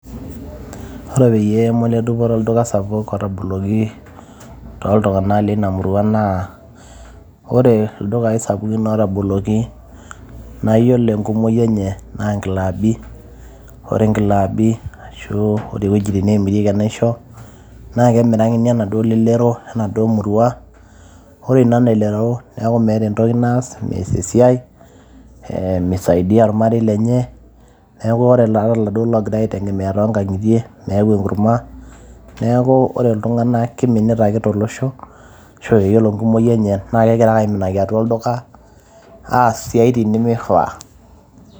ore peyie moledupoto olduka sapuk otaboloki toltung'anak lina murua naa ore ildukai sapukin otaboloki naa yiolo enkumoki enye naa inklabi ore inklabi ashu ore iwuejitin neemirieki enaisho naa kemirakini enaduo lelero enaduo murua ore ina lelero neeku meeta entoki naas mees esiai eh, misaidia ilmarei lenye neeku ore iladuo ogirae aitegemea tonkang'itie meyau enkurma neeku ore iltung'anak kiminita ake tolosho ashu yiolo enkumoki enye naa kegira ake aiminaki atua olduka aas isiaitin nemifaa.